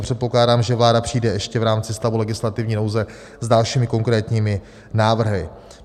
A předpokládám, že vláda přijde ještě v rámci stavu legislativní nouze s dalšími konkrétními návrhy.